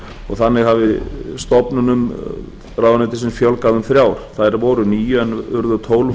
og þannig hafi stofnunum ráðuneytisins fjölgað um þrjár þær voru níu en urðu tólf